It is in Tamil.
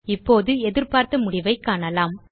இப்போது எதிர்பார்த்த முடிவைக் காணலாம்